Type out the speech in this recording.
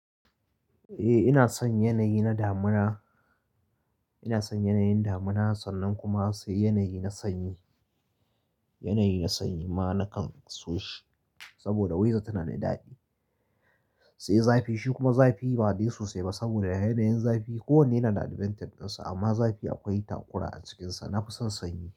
Eh ina son yanayi na damuna, ina son yanayin damuna sannan kuma sai yanayi na sanyi, yanayi na sanyi ma nakan so shi sabida wedar tana da daɗi. Sai zafi, shi kuma zafi ba dai sosai ba sabida yanayin zafi, kowanne yana da advantage ɗinsa amma zafi akwai takura a cikinsa. Nafi son sanyi.